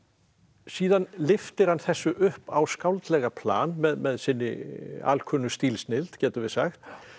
síðan lyftir hann þessu upp á skáldlega plan með sinni alkunnu stílsnilld getum við sagt